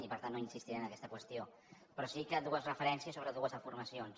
i per tant no insistiré en aquesta qüestió però sí que vull fer dues referències sobre dues afirmacions